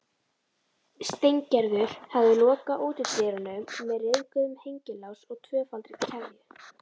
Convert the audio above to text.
Steingerður hafði lokað útidyrunum með ryðguðum hengilás og tvöfaldri keðju.